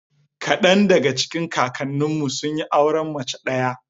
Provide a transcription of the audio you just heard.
Kadan daga cikin kakanninmu sun yi auren mace ɗaya.